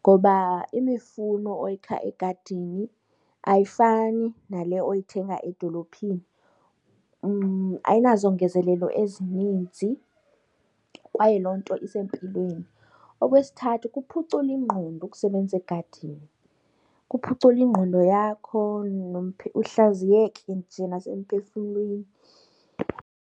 ngoba imifuno oyikha egadini ayifani nale oyithenga edolophini, ayinazongezelelo ezininzi kwaye loo nto isempilweni. Okwesithathu kuphucula ingqondo ukusebenza egadini, kuphucula ingqondo yakho uhlaziyeke nje nasemphefumlweni.